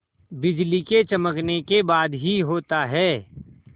बिजली के चमकने के बाद ही होता है